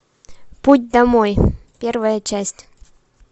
путь домой первая часть